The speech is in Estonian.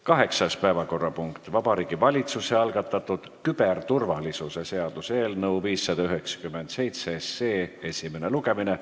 Kaheksas päevakorrapunkt on Vabariigi Valitsuse algatatud küberturvalisuse seaduse eelnõu 597 esimene lugemine.